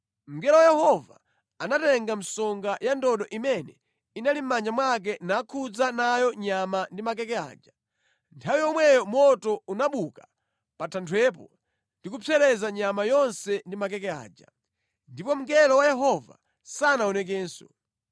Mngelo wa Yehova anatenga msonga ya ndodo imene inali mʼmanja mwake nakhudza nayo nyama ndi makeke aja. Nthawi yomweyo moto unabuka pa thanthwepo ndi kupsereza nyama yonse ndi makeke aja. Ndipo mngelo wa Yehova sanaonekenso.